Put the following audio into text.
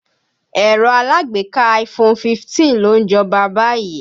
Ẹ̀rọ alágbèéká iPhone 15 ló ń jọba báyìí.